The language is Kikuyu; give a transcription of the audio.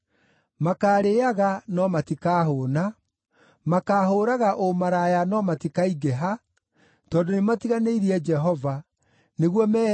“Makaarĩĩaga no matikahũũna, makaahũũraga ũmaraya no matikaingĩha, tondũ nĩmatiganĩirie Jehova nĩguo meheane